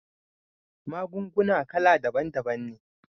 Magunguna kala daban daban ne